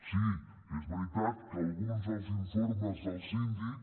sí és veritat que alguns dels informes del síndic